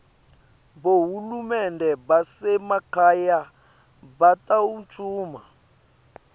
bohulumende basemakhaya batawuncuma